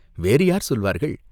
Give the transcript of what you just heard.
"வேறு யார் சொல்வார்கள்?